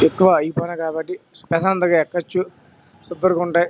ఎక్కువ ఐపోయినాయి కాబట్టి ప్రశాంతంగా ఎక్కవచ్చు సూపర్ ఉంటాయి.